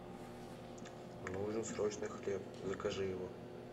нужен срочно хлеб закажи его